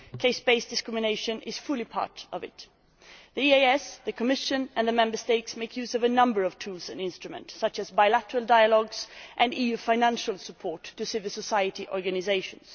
Caste based discrimination is an essential part of it. The EEAS, the Commission and Member States make use of a number of tools and instruments such as bilateral dialogue and EU financial support to civil society organisations.